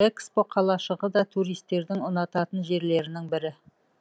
экспо қалашығы да туристердің ұнататын жерлерінің бірі